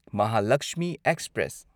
Mahalaxmi express